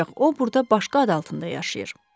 Ancaq o burda başqa ad altında yaşayır.